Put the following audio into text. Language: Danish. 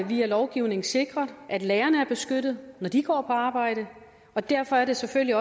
via lovgivningen sikret at lærerne er beskyttet når de går på arbejde og derfor er det selvfølgelig